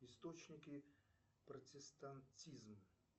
источники протестантизма